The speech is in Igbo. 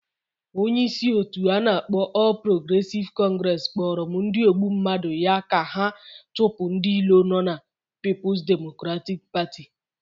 Onye isi otu anakpo All Progressive Congress Kporo m ndi ogbu mmadu ya ka ha chupu ndi ilo no na Peoples Democratic Party